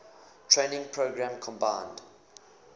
training program combined